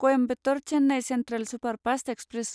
Coimbatore Chennai central superfast express